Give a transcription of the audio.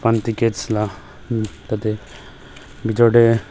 khan tickets lah tah teh bithor teh--